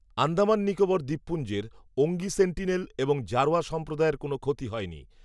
আন্দামান নিকোবর দ্বীপপুঞ্জের ওঙ্গি সেন্টিনেল, এবং জারোয়া সম্প্রদায়ের কোনও ক্ষতি হয়নি